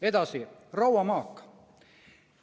Edasi, rauamaak.